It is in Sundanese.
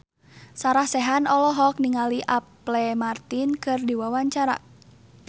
Sarah Sechan olohok ningali Apple Martin keur diwawancara